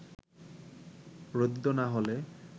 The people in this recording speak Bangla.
ঋদ্ধ না হলে